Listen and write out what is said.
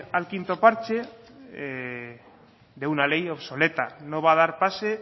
al quinto parche de una ley obsoleta no va a dar pase